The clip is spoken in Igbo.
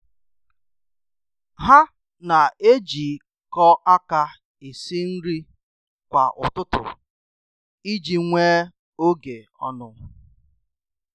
Ha na-ejikọ aka esi nri kwa ụtụtụ iji nwee oge ọnụ.